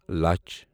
لچَھ